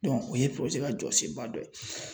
o ye ka jɔsenba dɔ ye.